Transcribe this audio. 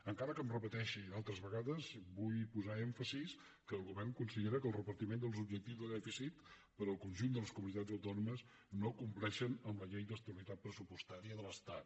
encara que em repeteixi d’altres vegades vull posar èmfasi que el govern considera que el repartiment dels objectius de dèficit per al conjunt de les comunitats autònomes no compleix amb la llei d’estabilitat pressupostària de l’estat